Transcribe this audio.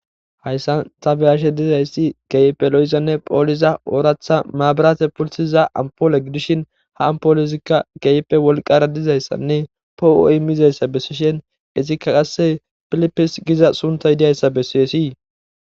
Hayssan tabeyashe dizayssi geype lo7izanne pooliza ooratha maabarate pultiza ampoole gidishin ha ampoolozikka geype wolqara dizayssanne poo7oi mizayssa bessishen izikka qasse pilipis giza sunta yidiyayssa bessiessii